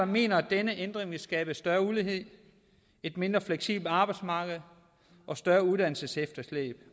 mener at denne ændring vil skabe større ulighed et mindre fleksibelt arbejdsmarked og større uddannelsesefterslæb